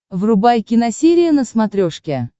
врубай киносерия на смотрешке